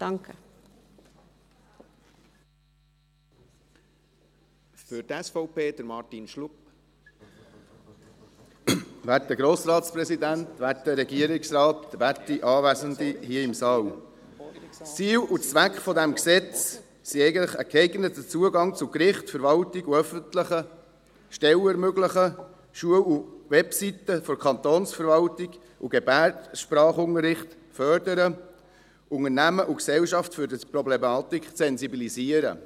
Ziel und Zweck dieses Gesetzes ist es eigentlich, einen geeigneten Zugang zu Gerichten, Verwaltungen und öffentlichen Stellen zu ermöglichen, Schulen und Webseiten der Kantonsverwaltung und Gebärdensprachunterricht zu fördern, Unternehmen und die Gesellschaft für diese Problematik zu sensibilisieren.